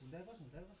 Nəyə baxırsan?